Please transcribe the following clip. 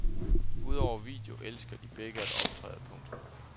Udover video elsker de begge at optræde. punktum